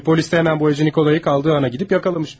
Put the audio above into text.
Təbii polis də hemen boyacı Nikolayı qaldığı ana gedib yakalamış.